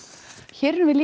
hér erum við